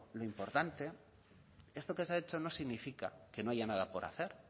lo importante esto que se ha hecho no significa que no haya nada por hacer